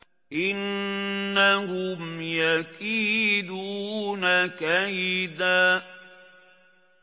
إِنَّهُمْ يَكِيدُونَ كَيْدًا